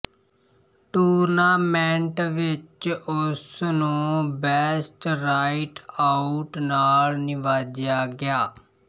tournament ਵਿੱਚ ਉਸ ਨੂੰ ਬੈਸਟ ਰਾਈਟ ਆਊਟ ਨਾਲ ਨਿਵਾਜਿਆ ਗਿਆ